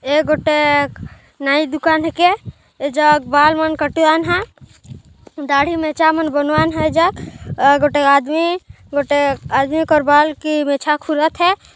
एक टक नाई दुकान हे के एजग बाल मन कटवान ह दाढ़ी मेछा मन बनवान ह एजग ए गोटे आदमी गोटे आदमी कर बाल के मेछा खुलेर हैं।